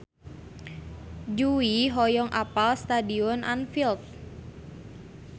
Jui hoyong apal Stadion Anfield